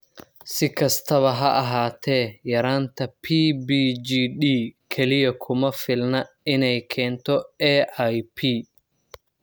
Si kastaba ha ahaatee, yaraanta PBGD kaliya kuma filna inay keento AIP.